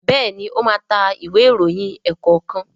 Béèni o má ta Ìwé ìròyìn ẹ̀ẹ̀kọ̀kan.